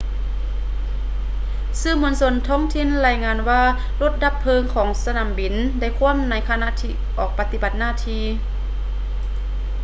ສື່ມວນຊົນທ້ອງຖິ່ນລາຍງານວ່າລົດດັບເພີງຂອງສະໜາມບິນໄດ້ຂວ້ຳໃນຂະນະອອກປະຕິບັດໜ້າທີ່